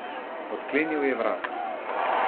Odklenil je vrata.